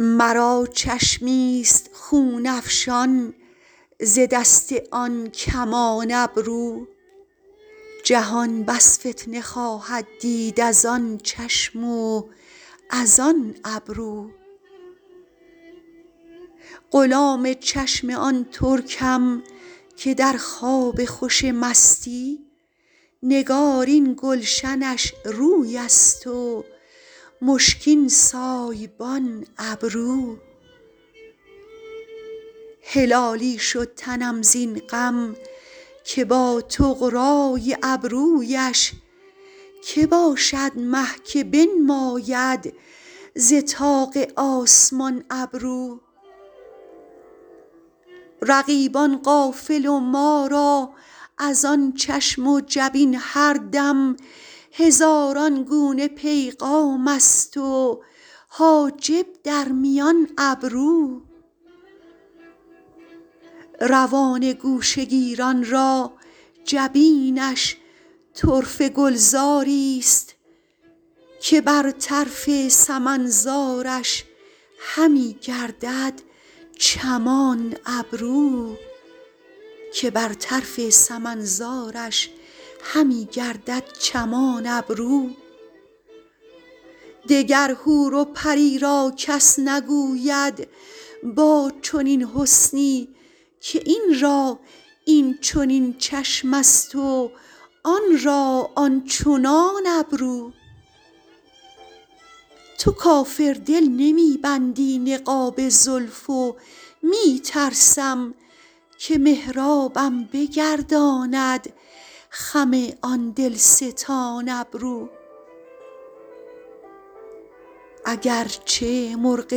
مرا چشمی ست خون افشان ز دست آن کمان ابرو جهان بس فتنه خواهد دید از آن چشم و از آن ابرو غلام چشم آن ترکم که در خواب خوش مستی نگارین گلشنش روی است و مشکین سایبان ابرو هلالی شد تنم زین غم که با طغرا ی ابرو یش که باشد مه که بنماید ز طاق آسمان ابرو رقیبان غافل و ما را از آن چشم و جبین هر دم هزاران گونه پیغام است و حاجب در میان ابرو روان گوشه گیران را جبینش طرفه گلزار ی ست که بر طرف سمن زارش همی گردد چمان ابرو دگر حور و پری را کس نگوید با چنین حسنی که این را این چنین چشم است و آن را آن چنان ابرو تو کافر دل نمی بندی نقاب زلف و می ترسم که محرابم بگرداند خم آن دل ستان ابرو اگر چه مرغ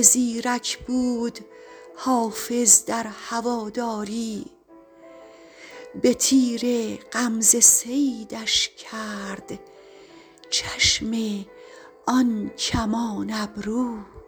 زیرک بود حافظ در هوادار ی به تیر غمزه صیدش کرد چشم آن کمان ابرو